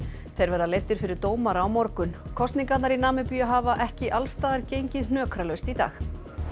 þeir verða leiddir fyrir dómara á morgun kosningarnar í Namibíu hafa ekki alls staðar gengið hnökralaust í dag